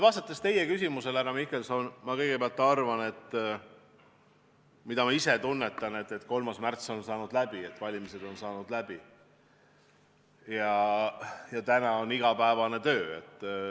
Vastates teie küsimusele, härra Mihkelson, ma kõigepealt arvan, et ma ise tunnetan, et 3. märts on saanud mööda, valimised on saanud mööda ja täna on igapäevane töö.